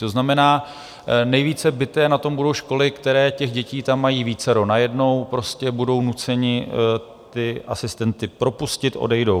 To znamená, nejvíce bity na tom budou školy, které těch dětí tam mají vícero najednou, prostě budou nuceny ty asistenty propustit, odejdou.